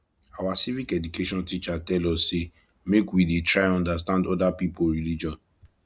our civic education teacher tell us sey make we dey try understand oda pipo religion